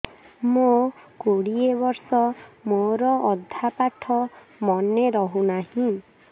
ମୋ କୋଡ଼ିଏ ବର୍ଷ ମୋର ଅଧା ପାଠ ମନେ ରହୁନାହିଁ